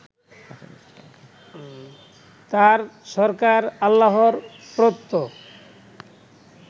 তাঁর সরকার আল্লাহর প্রদত্ত